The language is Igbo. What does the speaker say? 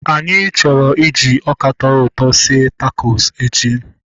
Anyị chọrọ iji ọka tọrọ ụtọ sie takos echi